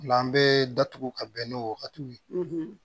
O la an bɛ datugu ka bɛn n'o wagatiw ye